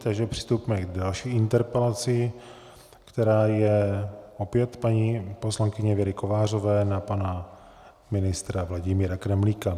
Takže přistoupíme k další interpelaci, která je opět paní poslankyně Věry Kovářové na pana ministra Vladimíra Kremlíka.